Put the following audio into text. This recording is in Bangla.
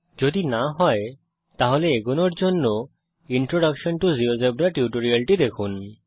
যদি না হয় তাহলে এগোনোর আগে ইন্ট্রোডাকশন টো জিওজেবরা টিউটোরিয়ালটি দেখুন